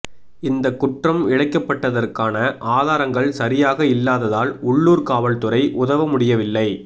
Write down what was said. இந்த குற்றம் இழைக்கப்பட்டதற்கான ஆதாரங்கள் சரியாக இல்லாததால் உள்ளூர் காவல்துறை உதவ முடியவில்லை